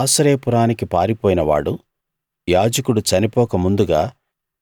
ఆశ్రయపురానికి పారిపోయిన వాడు యాజకుడు చనిపోక ముందుగా